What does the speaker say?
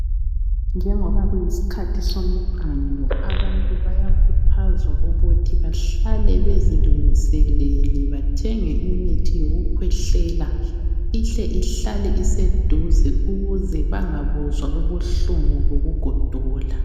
Njengoba kuyisikhathi somqando abantu bayakhuthazwa ukuthi bahlale bezilungisele bathenge imithi yokukhwehlela ihle ihlale iseduze ukuze bangabuzwa ubuhlungu bokugodola.